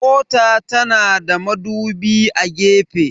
Mota na da madubi a gefe.